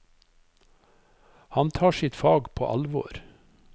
Han tar sitt fag på alvor.